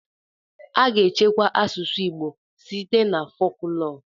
A ga-echekwa asụsụ Igbo site na foklọọ.